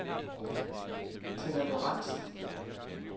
Tenna Lorentsen